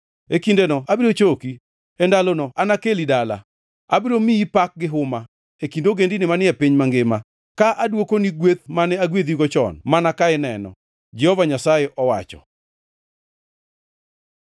E kindeno abiro choki, e ndalono anakeli dala. Abiro miyi pak gi huma, e kind ogendini manie piny mangima, ka adwokoni gweth mane agwedhigo chon mana ka ineno,” Jehova Nyasaye owacho.